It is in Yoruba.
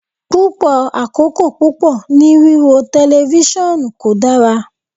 Pupọ akoko pupọ ni wiwo tẹlifisiọnu ko dara